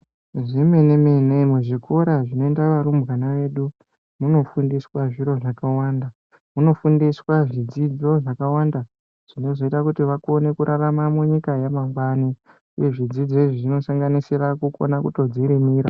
Zvemeneme, muzvikora zvinoenda varumbwana vedu munofundiswa zviro zvakawanda, munofundiswa zvidzidzo zvakawanda zvinozoita kuti vakone kurarama munyika yamangwani uye zvidzidzo izvi zvinosanganisira kunona kutodzirimira.